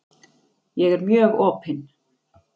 Ég er mjög opin.